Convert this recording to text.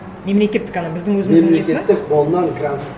мемлекеттік ана біздің өзіміздің несі ме мемлекеттік мон нан грант